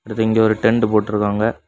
அடுத்து இங்கே ஒரு டென்ட் போட்டு இருக்காங்க.